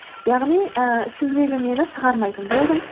яғни ііі ішімдегі мені шығармайтын болдым